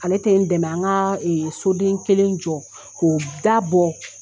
Ale tɛ n dɛmɛ an ka so den kelen jɔ k'o dabɔ.